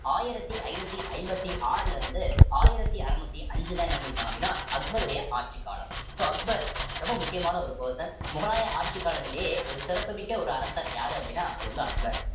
ஆயிரத்தி ஐந்நூத்தி ஐம்பத்தி ஆறுல இருந்து ஆயிரத்தி அறுநூத்தி அஞ்சுதான் என்ன பண்ணி இருப்பாங்க அப்படின்னா அக்பருடைய ஆட்சிக் காலம் so அக்பர் ரொம்ப முக்கியமான ஒரு person முகலாயர் ஆட்சி காலத்திலேயே ஒரு சிறப்புமிக்க ஒரு அரசர் யாரு அப்படின்னா அது வந்து அக்பர்